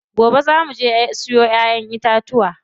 Gobe zaa muje mu siyo ƴaƴen itatuwa.